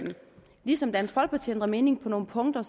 ligesom dansk folkeparti har ændret mening på nogle punkter